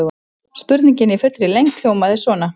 Spurningin í fullri lengd hljómaði svona: